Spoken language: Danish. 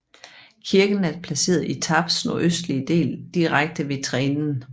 Kirken er placeret i Tarps nordøstlige del direkte ved Trenen